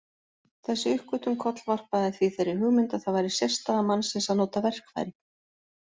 Þessi uppgötvun kollvarpaði því þeirri hugmynd að það væri sérstaða mannsins að nota verkfæri.